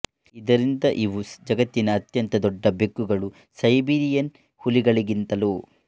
ಇದರಿಂದ ಇವು ಜಗತ್ತಿನ ಅತ್ಯಂತ ದೊಡ್ಡ ಬೆಕ್ಕುಗಳು ಸೈಬೀರಿಯನ್ ಹುಲಿಗಳಿಗಿಂತಲೋ